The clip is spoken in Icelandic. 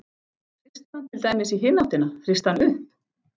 Hrista hann til dæmis í hina áttina, hrista hann upp?